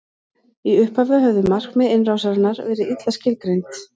í upphafi höfðu markmið innrásarinnar verið illa skilgreind